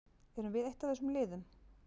Erum við eitt af þessum liðum?